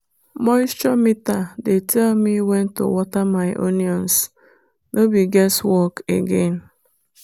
moisture meter dey tell me when to water my onions—no be guess work again.